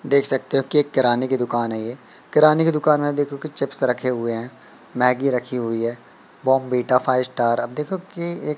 देख सकते हो कि एक किराने की दुकान है ये किराने की दुकान में देखो कि चिप्स रखे हुए हैं मैगी रखी हुई है बमबिटा फाइव स्टार अब देखो कि एक--